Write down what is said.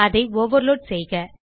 அதை ஓவர்லோட் செய்க